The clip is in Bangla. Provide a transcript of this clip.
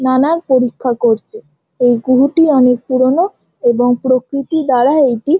নানার পরিখ্যা করছে। এই গুরুটি অনকে পুরোনো এবং প্রকৃতি দ্বারা এটি --